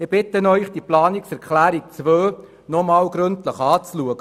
Ich bitte Sie, die Planungserklärung 2 nochmals gründlich anzuschauen.